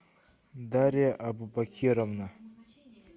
дарья абубакировна